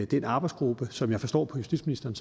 den arbejdsgruppe som jeg forstår justitsministeren